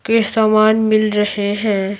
के सामान मिल रहे हैं।